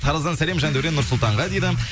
тараздан сәлем жандәурен нұрсұлтанға дейді